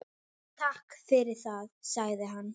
Takk fyrir það- sagði hann.